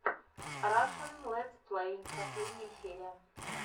рашн летсплей последняя серия